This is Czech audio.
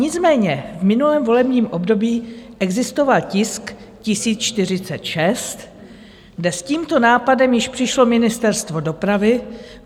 Nicméně v minulém volebním období existoval tisk 1046, kde s tímto nápadem již přišlo Ministerstvo dopravy.